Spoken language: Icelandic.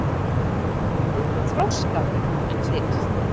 Við erum þroskaðri en þið.